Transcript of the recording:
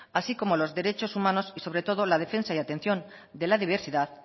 así como los derechos humanos y sobre todo la defensa y atención de la diversidad